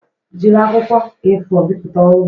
Jiri akwụkwọ A4 bipụta ọrụ m